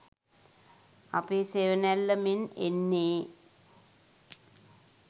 අපේ සෙවනැල්ල මෙන් එන්නේ